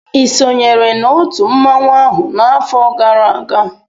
I sonyere na otu mmanwụ ahụ n'afọ gara aga?